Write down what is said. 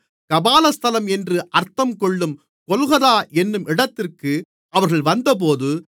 கபாலஸ்தலம் என்று அர்த்தங்கொள்ளும் கொல்கொதா என்னும் இடத்திற்கு அவர்கள் வந்தபோது